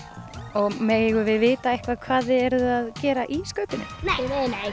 og megum við vita eitthvað hvað þið eruð að gera í skaupinu nei nei nei